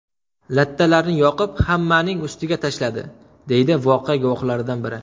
Lattalarni yoqib hammaning ustiga tashladi, deydi voqea guvohlaridan biri.